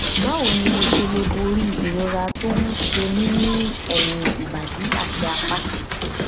báwo ni mo ṣe lè borí ìrora tó ń ṣe mí ní ẹyìn ìbàdí àti apá